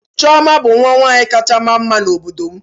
Chiọma bụ nwa nwanyị kacha ma mma n'obodo m